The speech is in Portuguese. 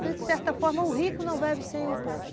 De certa forma, o rico não vive sem o pobre.